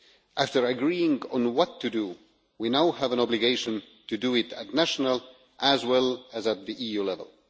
After agreeing on what to do, we now have an obligation to do it at national as well as at the EU level.